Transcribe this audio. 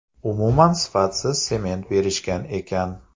Umuman sifatsiz sement berishgan ekan.